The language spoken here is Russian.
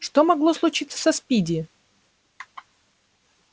что могло случиться со спиди